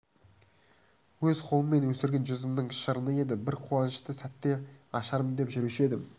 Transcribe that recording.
өз қолыммен өсірген жүзімнің шырыны еді бір қуанышты сәтте ашармын деп жүруші едім